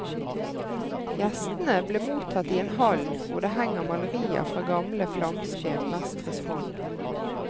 Gjestene ble mottatt i en hall hvor det henger malerier fra gamle flamske mestres hånd.